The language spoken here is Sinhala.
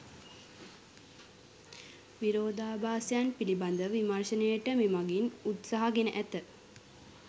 විරෝධාභාසයන් පිළිබඳව විමර්ශනයට මෙමගින් උත්සාහ ගෙන ඇත